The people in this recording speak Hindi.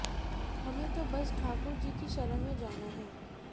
हमें तो बस ठाकुर जी की शरण में जाना है